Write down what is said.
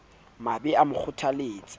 a be a mo kgothaletse